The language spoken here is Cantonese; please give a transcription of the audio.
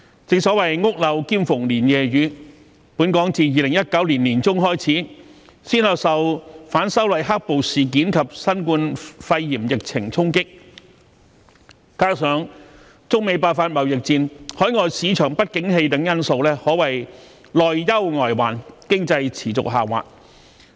正所謂"屋漏兼逢連夜雨"，本港自2019年年中開始，先後受"反修例黑暴事件"及新冠肺炎疫情衝擊，加上中美爆發貿易戰、海外市場不景氣等因素，可謂內憂外患，經濟持續下滑。